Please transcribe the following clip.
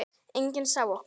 Enginn sá okkur.